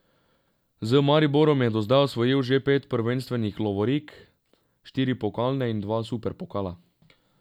Z Mariborom je do zdaj osvojil že pet prvenstvenih lovorik, štiri pokalne in dva superpokala.